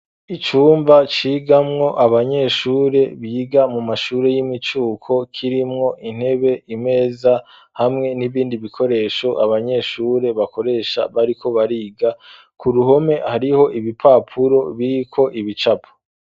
Icumba cigamwo abanyeshure biga mu mashure y'imicuko, kirimwo intebe, imeza, hamwe n'ibindi bikoresho abanyeshure bakoresha bariko bariga. Ku ruhome hariho ibipapuro biriko ibicapo.